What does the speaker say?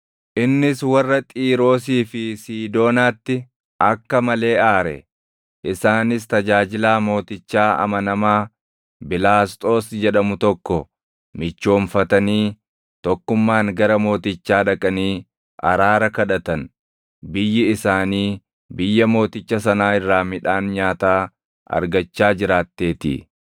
Innis warra Xiiroosii fi Siidoonaatti akka malee aare; isaanis tajaajilaa mootichaa amanamaa Bilaasxoos jedhamu tokko michoomfatanii tokkummaan gara mootichaa dhaqanii araara kadhatan; biyyi isaanii biyya mooticha sanaa irraa midhaan nyaataa argachaa jiraatteetii.